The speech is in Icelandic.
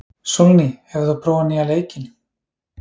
Sólný, hefur þú prófað nýja leikinn?